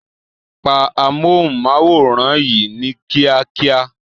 Pa amóhùnmáwòrán yìí ní kíákíá